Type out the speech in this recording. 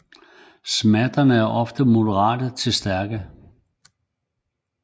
Smerterne er oftest moderate til stærke